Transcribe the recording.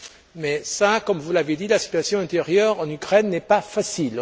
Mais, comme vous l'avez dit, la situation intérieure en Ukraine n'est pas facile.